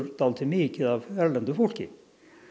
dálítið mikið af erlendu fólki